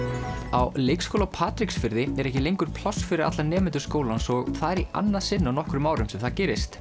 á leikskóla á Patreksfirði er ekki lengur pláss fyrir alla nemendur skólans og það er í annað sinn á nokkrum árum sem það gerist